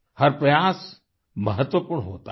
हर प्रयास महत्वपूर्ण होता है